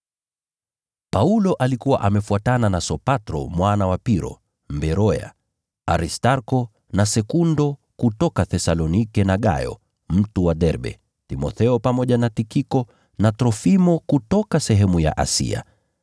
Paulo alikuwa amefuatana na Sopatro mwana wa Piro, Mberoya, Aristarko na Sekundo kutoka Thesalonike na Gayo, mtu wa Derbe, Timotheo pamoja na Tikiko na Trofimo kutoka sehemu ya Asia.